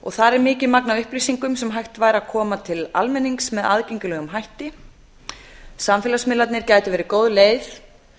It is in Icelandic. og þar er mikið magn af upplýsingum sem hægt væri að koma til almennings með aðgengilegum hætti samfélagsmiðlarnir gætu verið góð leið